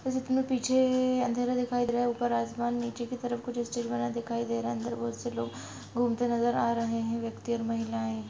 और जितने पीछे अन्दर दिखाई दे रहा है और निचे की तरफ कुछ स्टाल का नजर आ रहा है और बहुत से लोग घुमते नजर आ रहे है व्यक्ति और महिलाएं।